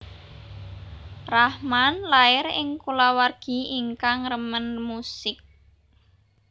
Rahman lair ing kulawargi ingkang remen musik